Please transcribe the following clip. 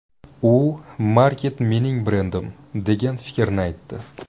U ‘Maket mening brendim’, degan fikrni aytdi.